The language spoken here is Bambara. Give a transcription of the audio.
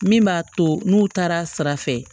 Min b'a to n'u taara sira fɛ